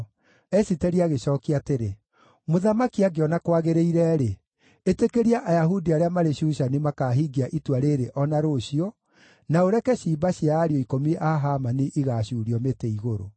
Esiteri agĩcookia atĩrĩ, “Mũthamaki angĩona kwagĩrĩire-rĩ, ĩtĩkĩria Ayahudi arĩa marĩ Shushani makaahingia itua rĩĩrĩ o na rũciũ, na ũreke ciimba cia ariũ ikũmi a Hamani igaacuurio mĩtĩ-igũrũ.”